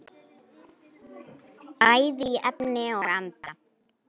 Bæði í efni og anda.